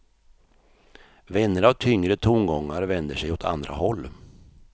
Vänner av tyngre tongångar vänder sig åt andra håll.